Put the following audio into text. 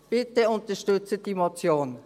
Bitte unterstützen Sie diese Motion.